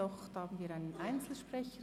Doch, wir haben einen Einzelsprecher.